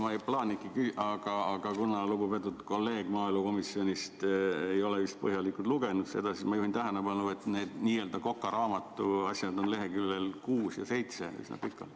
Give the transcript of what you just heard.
Ma ei plaaninudki küsida, aga kuna lugupeetud kolleeg maaelukomisjonist ei ole vist põhjalikult lugenud seda, siis ma juhin tähelepanu, et need n‑ö kokaraamatu asjad on lehekülgedel 6 ja 7 üsna pikalt.